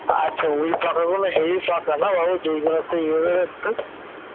আচ্ছা ওই পাকাগুলো heavy পাকা না যেগুলোতেই হয়ে যাচ্ছে ।